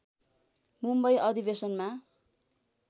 मुम्बई अधिवेशनमा